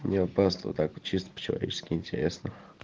мне просто вот так вот чисто по-человечески интересно